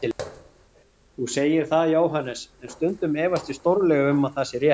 Þú segir það, Jóhannes, en stundum efast ég stórlega um að það sé rétt.